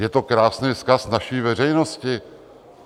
Je to krásný vzkaz naší veřejnosti!